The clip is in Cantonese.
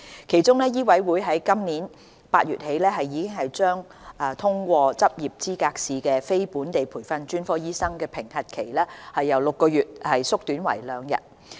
其中，醫委會在今年8月起將已通過執業資格試的非本地培訓專科醫生的評核期由6個月縮短為兩天。